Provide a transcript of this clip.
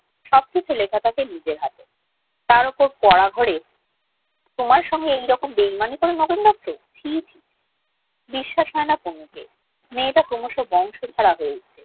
সবকিছু লেখা থাকে নিজের হাতে তার উপর ঘরে তোমার সঙ্গে এরকম বেইমানি করে নগেন দত্ত ছি ছি বিশ্বাস হয়না তোমাকে মেয়েটা কমছে মেয়েটার ক্রমস্ত হয়ে উঠল